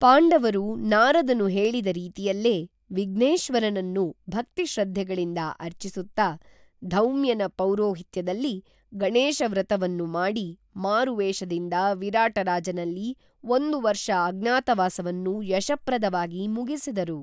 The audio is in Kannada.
ಪಾಂಡವರು ನಾರದನು ಹೇಳಿದ ರೀತಿಯಲ್ಲೇ ವಿಘ್ನೇಶ್ವರನನ್ನು ಭಕ್ತಿಶ್ರದ್ಧೆಗಳಿಂದ ಅರ್ಚಿಸುತ್ತಾ ಧೌಮ್ಯನ ಪೌರೋಹಿತ್ಯದಲ್ಲಿ ಗಣೇಶ ವ್ರತವನ್ನು ಮಾಡಿ ಮಾರುವೇಷದಿಂದ ವಿರಾಟರಾಜನಲ್ಲಿ ಒಂದು ವರ್ಷ ಅಜ್ಞಾತವಾಸವನ್ನು ಯಶಪ್ರದ ವಾಗಿ ಮುಗಿಸಿದರು